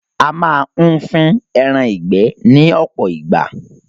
A máa ń fín ẹran ìgbẹ́ ní ọpọ ìgbà